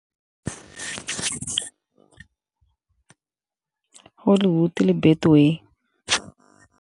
Hollywood le Betway.